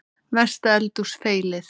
Mesta eldhús feilið?